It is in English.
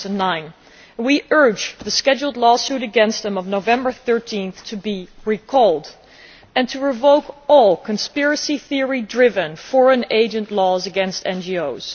2009. We urge the scheduled law suit against them of 13 November to be recalled and to revoke all conspiracy theory driven foreign agent laws against NGOs.